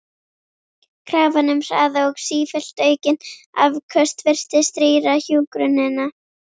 Krafan um hraða og sífellt aukin afköst virtist rýra hjúkrunina.